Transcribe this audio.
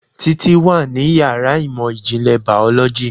Títí wà ní yàrá ìmọ̀ ìjìnlẹ̀ Biology